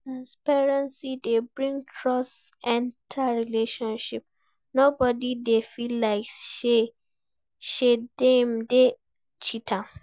Transparency dey bring trust enter relationship, no body dey feel like sey dem dey cheat am